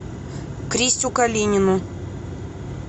кристю калинину